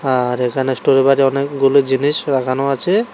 আর এখানে স্টোরের পাজে অনেকগুলো জিনিস রাখানো আছে।